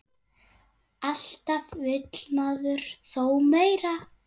Alltaf vill maður þó meira.